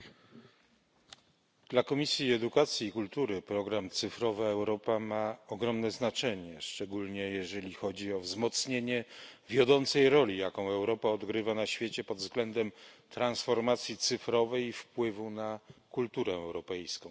Pani Przewodnicząca! Dla Komisji Edukacji i Kultury program Cyfrowa Europa ma ogromne znaczenie, szczególnie jeżeli chodzi o wzmocnienie wiodącej roli, jaką Europa odgrywa na świecie pod względem transformacji cyfrowej i wpływu na kulturę europejską.